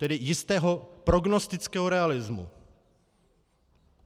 Tedy jistého prognostického realismu.